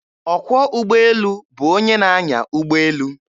Ọkwọ ụgbọelu bụ onye na-anya ụgbọelu.